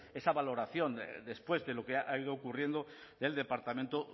esa valoración después de lo que ha ido ocurriendo del departamento